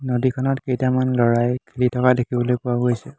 নদীখনত কেইটামান ল'ৰাই খেলি থকা দেখিবলৈ পোৱা গৈছে।